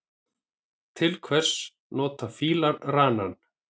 Til hvers nota fílar ranann?